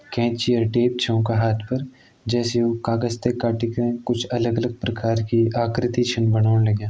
केची और टेप छ उं का हाथ पर जैसे ऊ कागज ते काटीक कुछ अलग अलग प्रकार की आकृति छन बनौण लग्यां।